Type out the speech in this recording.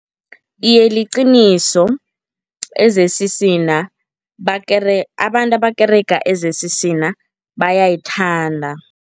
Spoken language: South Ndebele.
Iye, liqiniso. e-Z_C_C na abantu abakerega e-Z_C_C na bayayithanda.